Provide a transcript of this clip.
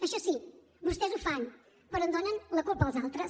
això sí vostès ho fan però en donen la culpa als altres